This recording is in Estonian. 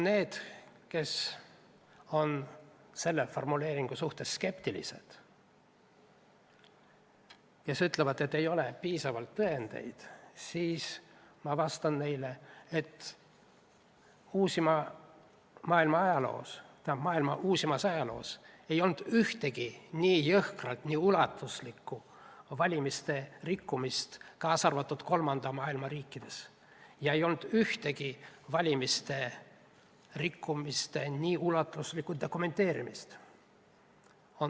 Neile, kes on selle formuleeringu suhtes skeptilised ja ütlevad, et pole piisavalt tõendeid, vastan ma, et maailma uusimas ajaloos ei ole olnud ühtegi nii jõhkrat ja ulatuslikku valimiste rikkumist – ka mitte kolmanda maailma riikides – ning ei ole olnud ühtegi valimiste rikkumise nii ulatuslikku dokumenteerimist.